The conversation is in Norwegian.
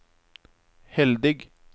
heldig